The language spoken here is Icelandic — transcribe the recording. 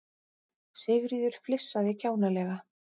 Sigríður flissaði kjánalega.